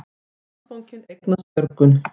Landsbankinn eignast Björgun